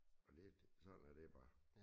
Og det sådan er det bare